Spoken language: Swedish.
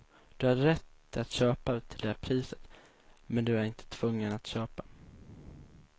Du har rätt att köpa till det priset, men du är inte tvungen att köpa.